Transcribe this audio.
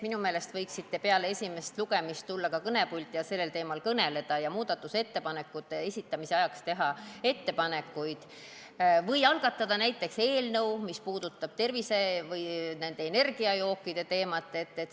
Minu meelest võiksite peale esimest lugemist tulla kõnepulti ja sellel teemal kõnelda ning muudatusettepanekute esitamise ajaks teha ettepanekuid või algatada näiteks eelnõu, mis puudutab tervise või energiajookide teemat.